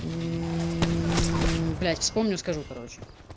мм блять вспомню скажу короче